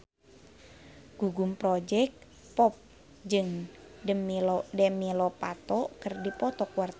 Gugum Project Pop jeung Demi Lovato keur dipoto ku wartawan